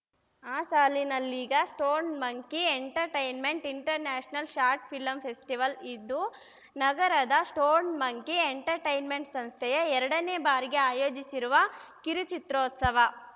ಆ ಸಾಲಿನಲ್ಲೀಗ stone monkey entertainment international short film festival ಇದು ನಗರದ ಸ್ಟೋನ್‌ ಮಂಕಿ ಎಂಟರ್‌ಟೈನ್‌ಮೆಂಟ್‌ ಸಂಸ್ಥೆಯ ಎರಡನೇ ಬಾರಿಗೆ ಆಯೋಜಿಸಿರುವ ಕಿರುಚಿತ್ರೋತ್ಸವ